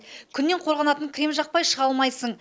күннен қорғанатын крем жақпай шыға алмайсың